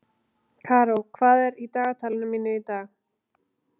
Karó, hvað er í dagatalinu mínu í dag?